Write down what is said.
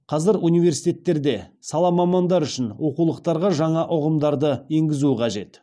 қазір университеттерде сала мамандары үшін оқулықтарға жаңа ұғымдарды енгізу қажет